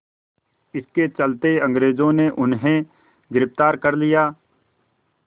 इसके चलते अंग्रेज़ों ने उन्हें गिरफ़्तार कर लिया